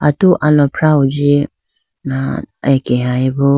atu alafrah huji ah akeyebo.